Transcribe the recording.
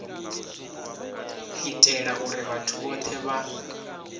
itela uri vhathu vhothe vha